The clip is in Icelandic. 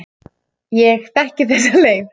Ég þekki þessa leið.